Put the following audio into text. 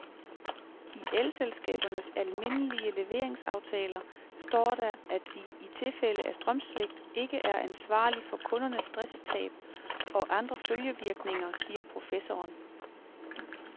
I elselskabernes almindelige leveringsaftaler står der, at de i tilfælde af strømsvigt ikke er ansvarlig for kundernes driftstab og andre følgevirkninger, siger professoren.